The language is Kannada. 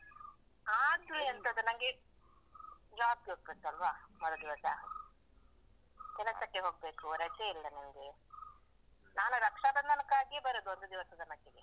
ಆದ್ರು. ಎಂತದ ನಂಗೆ, job ಗೆ ಹೋಗ್ಬೇಕಲ್ವಾ ಮರುದಿವಸ? ಕೆಲಸಕ್ಕೆ ಹೋಗ್ಬೇಕು, ರಜೆ ಇಲ್ಲ ನಂಗೆ. ನಾನು ರಕ್ಷಾಬಂಧನಕ್ಕಾಗಿಯೇ ಬರುದು ಒಂದ್ದಿವ್ಸದ್‌ ಮಟ್ಟಿಗೆ.